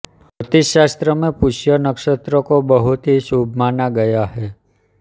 ज्योतिषशास्त्र में पुष्य नक्षत्र को बहुत ही शुभ माना गया है